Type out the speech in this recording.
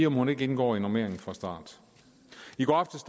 om hun ikke indgår i normeringen fra start i går aftes